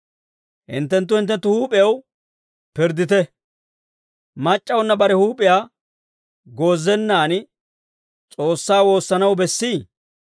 Hinttenttu hintte huup'ew pirddite. Mac'c'awunna bare huup'iyaa goozennaan S'oossaa woossanaw bessii?